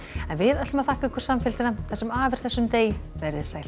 en við þökkum ykkur samfylgdina það sem af er þessum degi verið þið sæl